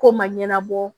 Ko ma ɲɛnabɔ